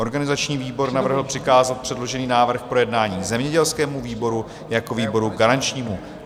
Organizační výbor navrhl přikázat předložený návrh k projednání zemědělskému výboru jako výboru garančnímu.